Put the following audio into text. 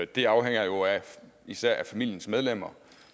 det afhænger især af familiens medlemmer